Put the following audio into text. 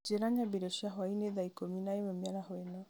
njĩra nyambie irio cia hwaĩ-inĩ thaa ikũmi na ĩmwe mĩaraho ĩno